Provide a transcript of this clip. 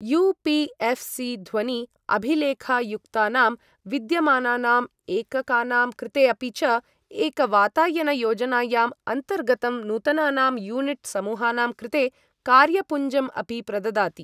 You P F C ध्वनि अभिलेखयुक्तानां विद्यमानानाम् एककानां कृते, अपि च एक वातायन योजनायाम् अन्तर्गतं नूतनानां यूनिट् समूहानां कृते कार्यपुञ्जं अपि प्रददाति।